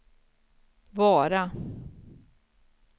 Vara